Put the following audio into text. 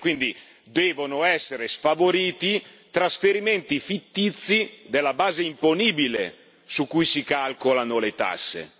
Quindi devono essere sfavoriti trasferimenti fittizi della base imponibile su cui si calcolano le tasse.